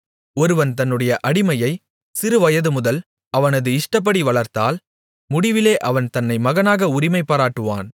ஒருவன் தன்னுடைய அடிமையைச் சிறு வயதுமுதல் அவனது இஷ்டப்படி வளர்த்தால் முடிவிலே அவன் தன்னை மகனாக உரிமைபாராட்டுவான்